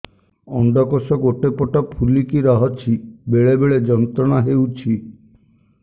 ଅଣ୍ଡକୋଷ ଗୋଟେ ପଟ ଫୁଲିକି ରହଛି ବେଳେ ବେଳେ ଯନ୍ତ୍ରଣା ହେଉଛି